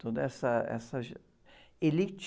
Toda essa, essa, elite.